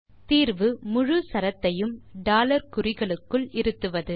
தீர்வு முழு சரத்தையும் குறிகளுக்குள் இருத்துவது